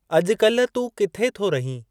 अॼु कल्ह तूं किथे थो रहीं?